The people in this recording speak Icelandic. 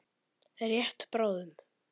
Rétt bráðum.